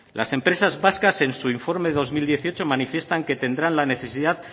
las empresas vascas en su informe del dos mil dieciocho manifiestan que tendrán la necesidad